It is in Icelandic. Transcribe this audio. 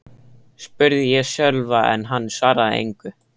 spurði ég Sölva en hann svaraði engu.